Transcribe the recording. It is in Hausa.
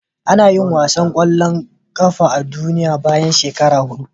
Anayin wasan kwallo na duniya bayan shekara hudu